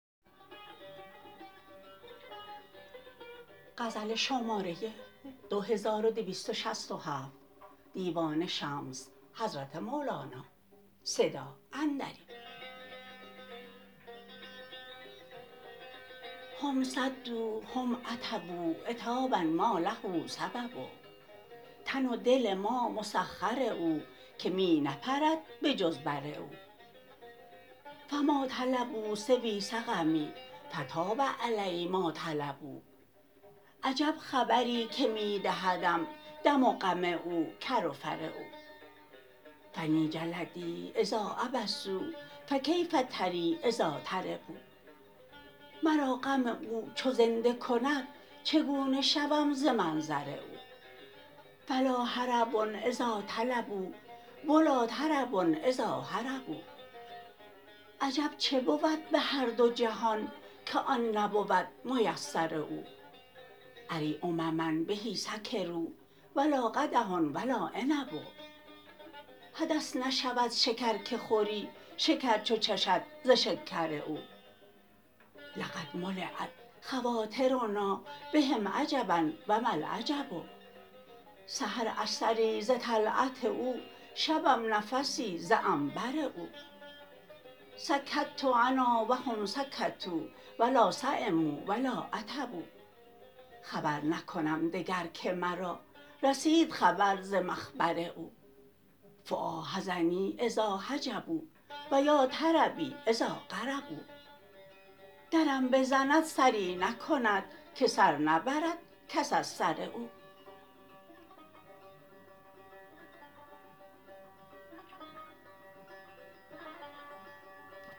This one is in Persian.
هم صدوا هم عتبوا عتابا ما له سبب تن و دل ما مسخر او که می نپرد به جز بر او فما طلبوا سوی سقمی فطاب علی ما طلبوا عجب خبری که می دهدم دم و غم او کر و فر او فنی جلدی اذا عبسوا فکیف تری اذا طربوا مرا غم او چو زنده کند چگونه شوم ز منظر او فلا هرب اذا طلبوا و لا طرب اذا هربوا عجب چه بود بهر دو جهان که آن نبود میسر او اری امما به سکروا و لا قدح و لا عنب حدث نشود شکر که خوری شکر چو چشد ز شکر او لقد ملیت خواطرنا بهم عجبا و ما العجب سحر اثری ز طلعت او شبم نفسی ز عنبر او سکت أنا و هم سکتوا و لا سیمو و لا عتبوا خبر نکنم دگر که مرا رسید خبر ز مخبر او فوا حزنی اذا حجبوا و یا طربی اذا قربوا درم بزند سری نکند که سر نبرد کس از سر او